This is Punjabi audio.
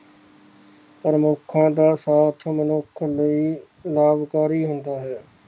ਪ੍ਰਮੁਖਾਂ ਦਾ ਸਾਥ ਮਨੁੱਖ ਲਈ ਲਾਭਕਾਰੀ ਹੁੰਦਾ ਹੈ